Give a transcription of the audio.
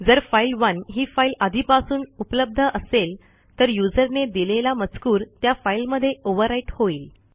जर फाइल1 ही फाईल आधीपासून उपलब्ध असेल तरuserने दिलेला मजकूर त्या फाईलमध्ये ओव्हरव्हराईट होईल